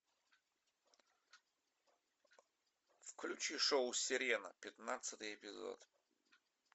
включи шоу сирена пятнадцатый эпизод